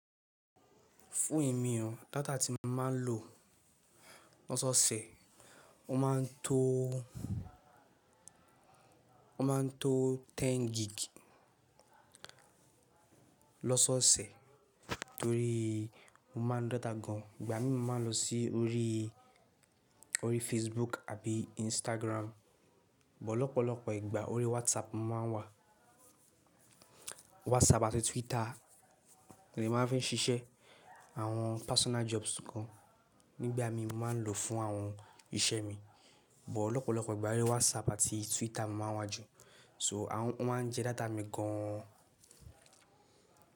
Fún èmi o, data tí mo máa ń lò lọ́sọ̀ọ̀sẹ̀, ó máa ń tó, ó máa ń tó ten gig lọ́sọ̀ọ̀sẹ̀ torí mo máa ńlo data gan. Ìgbà mí mo máa ń lọ sí orí, orí Facebook àbí Instagram, bọ̀ lọ́pọ̀lọ́pọ̀ ìgbà orí WhatsApp mo máa ń wà. WhatsApp àti Twitter ni màá fi ń ṣiṣẹ́ àwọn personal jobs kan nígbà mí mo máa ń lò fún àwọn iṣẹ́ mi. Bọ̀ lọ́pọ̀lọ́pọ̀ ìgbà orí WhatsApp àti Twitter mo máa wá jù. So wọ́n máa ń jẹ data mi gan.